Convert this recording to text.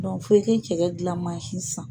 fo i ka cɛgɛ dilan masi san